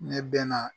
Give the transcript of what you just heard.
Ne bɛ na